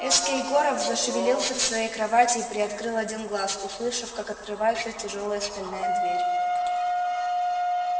эскель горов зашевелился в своей кровати и приоткрыл один глаз услышав как открывается тяжёлая стальная дверь